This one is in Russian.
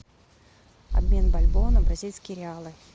обмен бальбоа на бразильские реалы